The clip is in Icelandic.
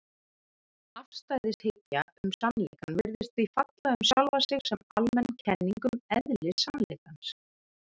Afstæðishyggja um sannleikann virðist því falla um sjálfa sig sem almenn kenning um eðli sannleikans.